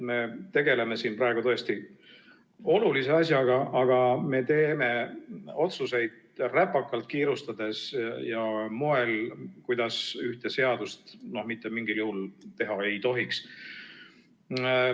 Me tegeleme siin praegu tõesti olulise asjaga, aga me teeme otsuseid räpakalt, kiirustades ja moel, kuidas ühte seadust mitte mingil juhul teha ei tohiks.